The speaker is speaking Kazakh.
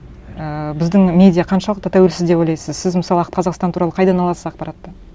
ііі біздің медиа қаншалықты тәуелсіз деп ойлайсыз сіз мысалы қазақстан туралы қайдан аласыз ақпаратты